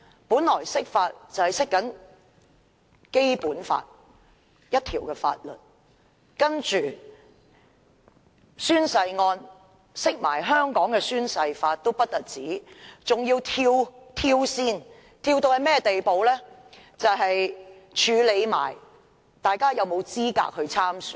本來釋法是要解釋《基本法》的一項條文，但有關宣誓案的釋法不但一併解釋香港的《宣誓及聲明條例》，更一併處理大家有否資格參選。